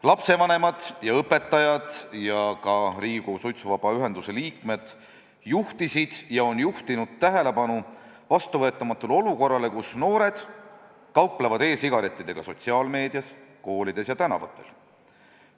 Lapsevanemad ja õpetajad ja ka Riigikogu suitsuvaba Eesti ühenduse liikmed on juhtinud tähelepanu vastuvõetamatule olukorrale, kus noored kauplevad e-sigarettidega sotsiaalmeedias, koolides ja tänavatel.